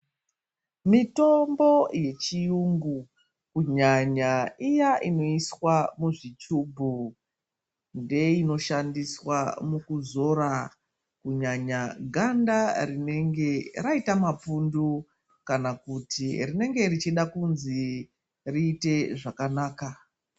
Mitombo yechiyungu kunyanya iya inoiswa muzvichubhu ndeinoshandiswa mukuzora ganda rinenge raita mapundu kana kuti rinenge richida kunzi riite zvakanaka.